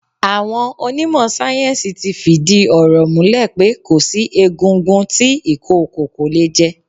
Àwọn onímọ̀ sáyẹ́ńsì ti fìdí ọ̀rọ̀ múlẹ̀ pé kò sí egungun tí ìkookò kò lè jẹ.